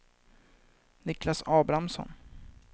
Niklas Abrahamsson